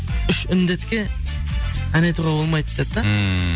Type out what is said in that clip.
үш індетке ән айтуға болмайды деп та ммм